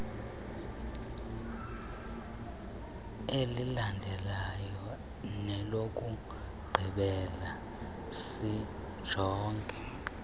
elilandelayo nelokugqibela sijonge